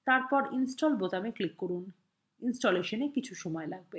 তারপর install বোতামে click করুন ইনস্টলেশনে কিছু সময় লাগবে